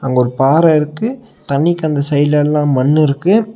அங்க ஒரு பாற இருக்கு தண்ணிக்கு அந்த சைடுல எல்லா மண்ணு இருக்கு.